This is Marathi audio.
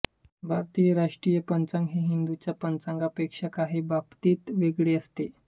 भारतीय राष्ट्रीय पंचांग हे हिंदूंच्या पंचांगांपेक्षा काही बाबतीत वेगळे असते